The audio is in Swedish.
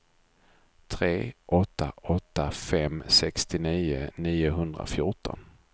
tre åtta åtta fem sextionio niohundrafjorton